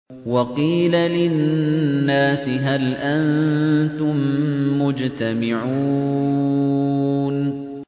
وَقِيلَ لِلنَّاسِ هَلْ أَنتُم مُّجْتَمِعُونَ